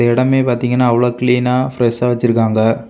இந்த இடமே பாத்தீங்கன்னா அவ்ளோ கிளீனா பிரஷா வெச்சிருக்காங்க.